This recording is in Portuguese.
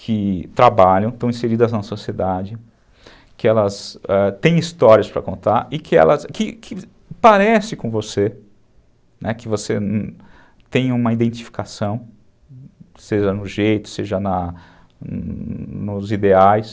que trabalham, estão inseridas na sociedade, que elas, ãh, têm histórias para contar e que parecem com você, que você tem uma identificação, seja no jeito, seja nos ideais.